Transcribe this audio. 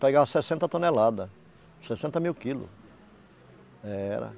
Pegava sessenta toneladas, sessenta mil quilos. era